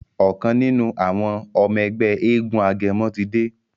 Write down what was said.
ọkàn nínú àwọn ọmọ Ègbé éégun agẹmọ tí dé.